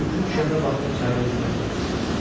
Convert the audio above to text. Bürküsü düşəndə vaxtını çayda üzməklə keçirirdi.